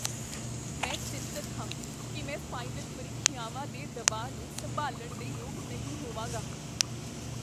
ਮੈਂ ਚਿੰਤਤ ਹਾਂ ਕੀ ਮੈਂ ਫਾਈਨਲ ਪ੍ਰੀਖਿਆਵਾਂ ਦੇ ਦਬਾਅ ਨੂੰ ਸੰਭਾਲਣ ਦੇ ਯੋਗ ਨਹੀਂ ਹੋਵਾਂਗਾ।